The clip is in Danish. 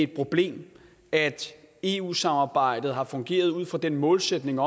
problem at eu samarbejdet har fungeret ud fra den målsætning